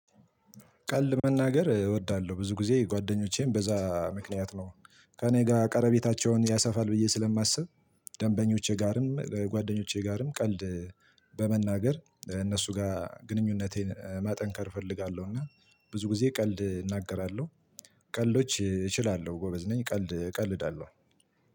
ቀልድ መናገር እወዳለሁ ብዙ ግዜ ጓደኞቼን በዛ ምክንያት ነው ከእኔ ጋር ቀረቤታቸውን ያሰፋል ብዬ ስለማስብ። ደንበኞቼ ጋርም ጓደኞቼ ጋርም ቀልድ በመናገር እነሱ ጋር ግንኙነቴን ማጠንከር እፈልጋለሁ እና ብዙ ጊዜ ቀልድ እናገራለሁ። ቀልዶች እችላለሁ ጎበዝ ነኝ ቀልድ እቀልዳለሁ።